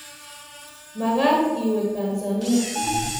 magat iwege Tanzania.